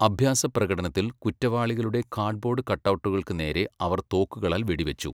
അഭ്യാസപ്രകടനത്തിൽ കുറ്റവാളികളുടെ കാർഡ്ബോർഡ് കട്ടൗട്ടുകൾക്ക് നേരെ അവർ തോക്കുകളാൽ വെടിവച്ചു.